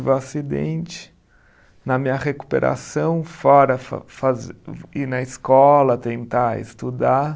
O acidente, na minha recuperação, fora fa fazer, ir na escola, tentar estudar.